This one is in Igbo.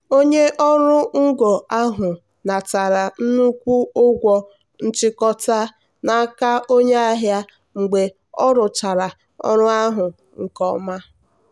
onye ọrụ ngo ahụ natara nnukwu ụgwọ nchikota n'aka onye ahịa mgbe ọ rụchara ọrụ ahụ nke ọma.